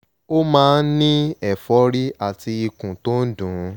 ó máa ń ní ẹ̀fọ́rí àti ikùn tó ń dùn ún